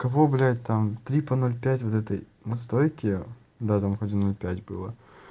кого блядь там три по ноль пять вот этой настойки да там один ноль пять было